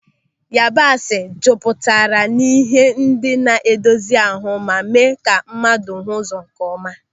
Yabasị jupụtara n'ihe ndị na-edozi ahụ ma mee ka mmadụ hụ ụzọ nkeọma.